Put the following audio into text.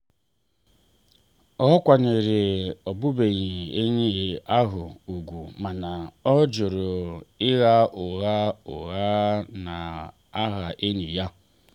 ọ kwanyere ọbụbụenyi ahụ ùgwù mana ọ jụrụ ịgha ụgha ụgha n'aha enyi ya.